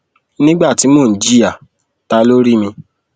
nígbà tí mò ń jìyà ta ló rí mi